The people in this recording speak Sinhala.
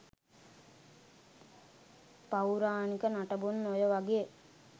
පෞරාණික නටබුන් ඔය වගේ